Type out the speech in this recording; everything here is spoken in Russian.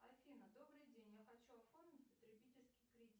афина добрый день я хочу оформить потребительский кредит